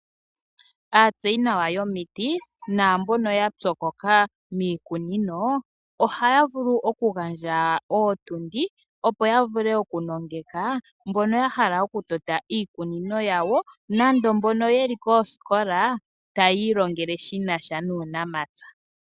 Aatseyinawa yomiti naambono ya pyokoka miikunino ohaya vulu okugandja ootundi, opo ya vule okunongeka mbono ya hala okutota iikunino yawo, nenge mbono ye li koosikola taya ilongele shi nasha nuunamapya.